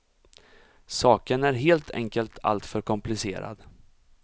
Saken är helt enkelt alltför komplicerad.